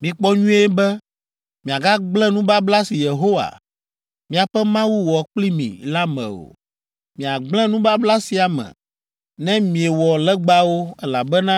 Mikpɔ nyuie be miagagblẽ nubabla si Yehowa, miaƒe Mawu wɔ kpli mi la me o! Miagblẽ nubabla sia me ne miewɔ legbawo, elabena